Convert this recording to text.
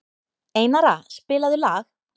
Einara, spilaðu lag.